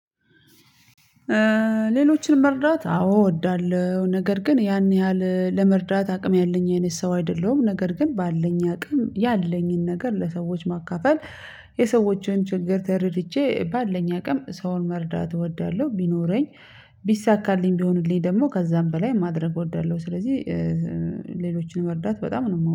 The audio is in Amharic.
ሌሎችን መርዳት አዎ እወዳለሁ ነገር ግን ያን ያህል ለመርዳት አቅም ያለኝ አይነት ሰው አይደለሁም ነገር ግን ባለኝ አቅም ያለኝን ነገር ለሰዎች ማካፈል። የሰዎችን ችግር ተረድቼ ባለኝ አቅም ሰውን መርዳት እወዳለሁ። ቢኖረኝ ቢሳካልኝ ቢሆንልኝ ደግሞ ከዛም በላይ ማድረግ እወዳለሁ። ስለዚህ ሌሎችን መርዳት በጣም ነው